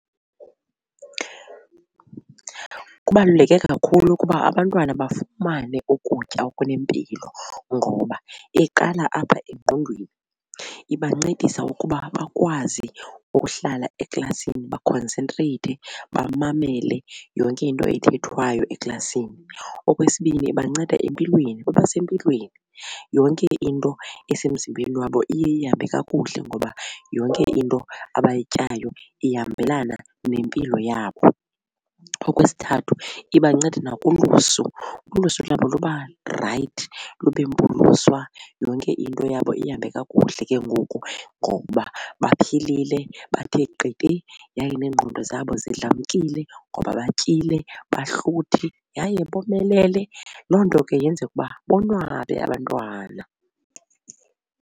Kubaluleke kakhulu ukuba abantwana bafumane ukutya okunempilo ngoba iqala apha engqondweni ibancedisa ngokuba bakwazi ukuhlala eklasini bakhonsentreyithe, bamamele yonke into ethethwayo eklasini. Okwesibini, ibanceda empilweni, babasempilweni yonke into esemzimbeni wabo iye ihambe kakuhle ngoba yonke into abayityayo ihambelana nempilo yabo. Okwesithathu, ibanceda nakulusu, ulusu lwabo luba right lube mpuluswa yonke into yabo ihambe kakuhle ke ngoku ngoba baphilile bathe qete yaye neengqondo zabo zidlamkile ngoba batyile bahluthi yaye bomelele. Loo nto ke yenza ukuba bonwabe abantwana.